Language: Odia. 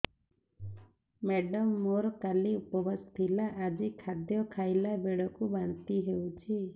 ମେଡ଼ାମ ମୋର କାଲି ଉପବାସ ଥିଲା ଆଜି ଖାଦ୍ୟ ଖାଇଲା ବେଳକୁ ବାନ୍ତି ହେଊଛି